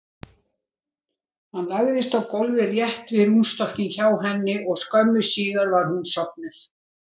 Hann lagðist á gólfið rétt við rúmstokkinn hjá henni og skömmu síðar var hún sofnuð.